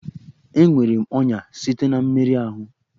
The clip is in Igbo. Enwere m ọnya site na mmerụ ahụ